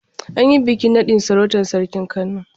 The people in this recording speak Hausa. An yi bikin naɗin sarautar sarkin Kano.